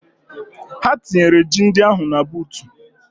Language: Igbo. Ha tinyere ji ndị ahụ na buutu.